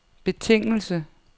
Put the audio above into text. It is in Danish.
betingelse